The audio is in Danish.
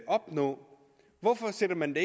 opnå hvorfor sætter man